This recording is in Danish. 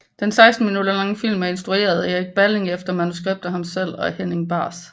Den 16 minutter lange film er instrueret af Erik Balling efter manuskript af ham selv og Henning Bahs